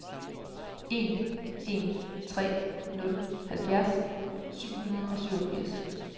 en en tre nul halvfjerds syv hundrede og syvogfirs